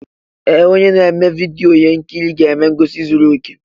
Ee! Onye na-eme vidyo ihe nkiri ga-eme ngosi zuru okè.